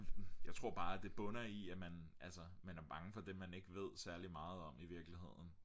jeg tror bare det bunder i at man altså man er bange for det man ikke ved særlig meget om i virkeligheden